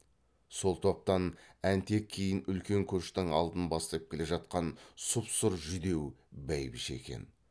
сол топтан әнтек кейін үлкен көштің алдын бастап келе жатқан сұп сұр жүдеу бәйбіше екен